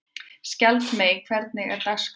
Skjaldmey, hvernig er dagskráin?